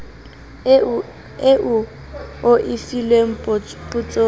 eo o e filweng potsong